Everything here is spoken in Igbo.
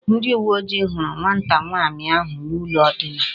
Ndi uwe oji huru nwata nwaanyi ahu n'ulo ndina